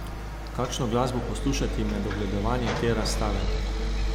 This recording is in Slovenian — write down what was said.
Kakšno glasbo poslušati med ogledovanjem te razstave?